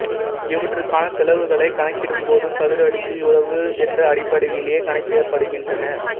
இவற்றுக்கான செலவுகளைக் கணக்கிடும்போதும் சதுர அடிக்கு இவ்வளவு என்ற அடிப்படையிலேயே கணக்கிடப்படுகின்றன